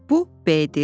Bu B-dir.